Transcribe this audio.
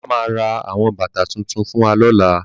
Bàbá ma ra àwọn bàtà tuntun fún wa lọ́la